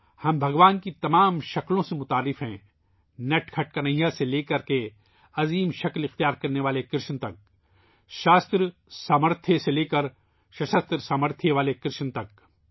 ہم بھگوان کے ہر روپ سے واقف ہیں ، نٹ کھٹ کنہیا سے لےکر ، عظیم روپ حاصل کرنےوالے کرشن تک ، شاستروں کی اہلیت سے لے کر شاستر کی حمایت والے کرشن تک